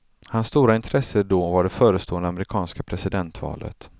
Hans stora intresse då var det förestående amerikanska presidentvalet.